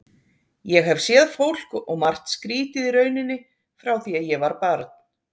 Ég hef séð fólk og margt skrítið í rauninni frá því að ég var barn.